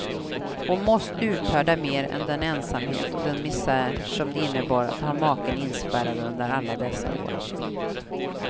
Hon måste uthärda mera än den ensamhet och den misär, som det innebar att ha maken inspärrad under alla dessa år.